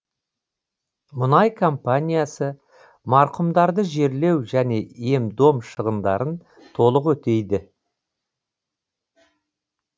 мұнай компаниясы марқұмдарды жерлеу және ем дом шығындарын толық өтейді